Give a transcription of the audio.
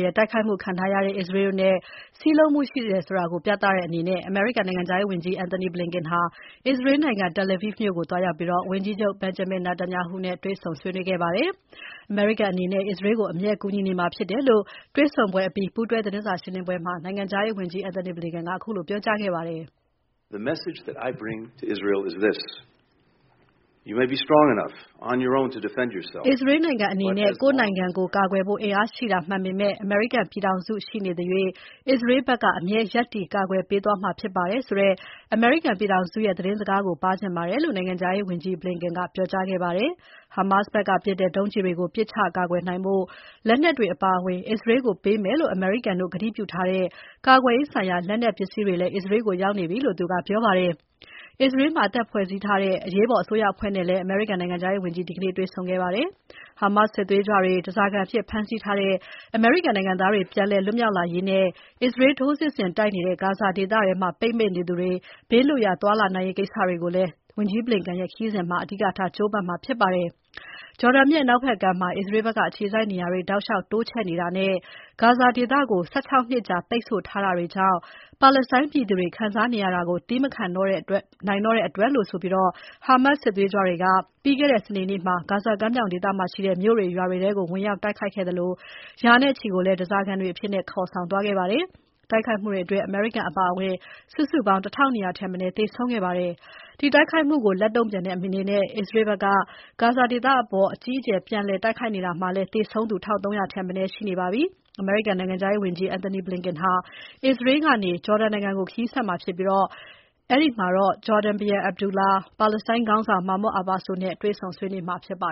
ရဲ့ တိုက်ခိုက်မှုခံထားရတဲ့ အစ္စရေးတို့နဲ့ စည်းလုံးမှုရှိတယ်ဆိုတာပြသတဲ့အနေနဲ့ အမေရိကန်နိုင်ငံခြားရေးဝန်ကြီး Antony Blinken အစ္စရေးနိုင်ငံ Tel Aviv မြို့ကိုသွားရောက်ပြီး ဝန်ကြီးချုပ် Benjamin Netanyahu နဲ့ ဒီနေ့ကြာသပတေးနေ့မှာ တွေ့ဆုံဆွေးနွေးခဲ့ပါတယ်။ အမေရိကန်အနေနဲ့ အစ္စရေးကို အမြဲကူညီနေမှာဖြစ်တယ်လို့ တွေ့ဆုံပွဲအပြီး ပူးတွဲသတင်းစာရှင်းပွဲမှာ နိုင်ငံခြားရေးဝန်ကြီး Blinken ကပြောကြားခဲ့ပါတယ်။ အစ္စရေးနိုင်ငံအနေနဲ့ ကိုယ့်နိုင်ငံကိုယ်ကာကွယ်ဖို့ အင်အားရှိတာမှန်ပေမဲ့ အမေရိကန်ပြည်ထောင်စု ရှိနေသရွှေ့ အစ္စရေးဘက်က အမြဲရပ်တည်ကာကွယ်ပေးသွားမှာဖြစ်ပါတယ်ဆိုတဲ့ အမေရိကန်ပြည်ထောင်စုရဲ့ သတင်းစကားကို ပါးချင်ပါတယ်လို့ နိုင်ငံခြားရေးဝန်ကြီး Blinken ကပြောကြားခဲ့ပါတယ်။ ဟာမက်စ်ဘက်ကပစ်တဲ့ ဒုံးကျည်တွေကို ပစ်ချကာကွယ်နိုင်ဖို့လက်နက်တွေအပါအဝင် အစ္စရေးကို ပေးမယ်လို့ အမေရိကန်တို့ ကတိပြုထားတဲ့ ကာကွယ်ရေးဆိုင်ရာ လက်နက်ပစ္စည်းတွေလည်း အစ္စရေးကို ရောက်ရှိနေပြီလို့ သူကပြောပါတယ်။ အစ္စရေးမှာ အသစ်ဖွဲ့စည်းထားတဲ့ အရေးပေါ်အစိုးရအဖွဲ့နဲ့လည်း အမေရိကန်နိုင်ငံခြားရေးဝန်ကြီး ဒီနေ့တွေ့ဆုံခဲ့ပါတယ်။ ဟာမက်စ်စစ်သွေးကြွတွေ ဓါးစာခံအဖြစ် ဖမ်းဆီးထားတဲ့ အမေရိကန်နိုင်ငံသားတွေ ပြန်လွတ်မြောက်လာရေးနဲ့ အစ္စရေး ထိုးစစ်ဆင်တိုက်နေတဲ့ ဂါဇာဒေသထဲမှာ ပိတ်မိနေသူတွေ ဘေးလွတ်ရာ သွားနိုင်ရေးကိစ္စတွေကိုလည်း ဝန်ကြီး Blinken ရဲ့ ခရီးစဉ်အတွင်းမှာ အဓိကထား ကြိုးပမ်းမှာဖြစ်ပါတယ်။ ဂျော်ဒန်မြစ်အနောက်ဘက်ကမ်းမှာ အစ္စရေးဘက်က အခြေစိုက်နေရာတွေ တောက်လျှောက်တိုးချဲ့နေတာနဲ့ ဂါဇာဒေသကို ၁၆ နှစ်ကြာ ပိတ်ဆို့ထားတာတွေကြောင့် ပါလက်စတိုင်းပြည်သူတွေခံစားနေရတာကို သည်းမခံနိုင်တော့တဲ့အတွက်လို့ဆိုပြီး ဟာမက်စ်စစ်သွေးကြွတွေက ပြီးခဲ့တဲ့ စနေနေ့မှာ ဂါဇာကမ်းမြောင်ဒေသမှာရှိတဲ့ မြို့တွေ ရွာတွေထဲ ဝင်ရောက် တိုက်ခိုက်ခဲ့သလို ရာနဲ့ချီကိုလည်း ဓါးစာခံတွေအဖြစ် ခေါ်ဆောင်သွားခဲ့ပါတယ်။ တိုက်ခိုက်မှုအတွင်း အမေရိကန်တွေ အပါအဝင် စုစုပေါင်း ၁၂၀၀ ထက်မနည်း သေဆုံးခဲ့ပါတယ်။ ဒီတိုက်ခိုက်မှုကို လက်တုံ့ပြန်တဲ့အနေနဲ့ အစ္စရေးဘက်က ဂါဇာဒေသအပေါ် အကြီးအကျယ်ပြန်လည်တိုက်ခိုက်နေတာမှာလည်း သေဆုံးသူ ၁၃၀၀ ထက်မနည်းရှိနေပါပြီ။ အမေရိကန်နိုင်ငံခြားရေးဝန်ကြီး Antony Blinken ဟာ အစ္စရေးနိုင်ငံကနေ ဂျော်ဒန်နိုင်ငံကို ခရီးဆက်မှာဖြစ်ပြီး အဲဒီမှာ ဂျော်ဒန်ဘုရင် Abdullah, ပါလက်စတိုင်းခေါင်းဆောင် Mahmoud Abbas တို့နဲ့ တွေ့ဆုံ ဆွေးနွေးမှာဖြစ်ပါ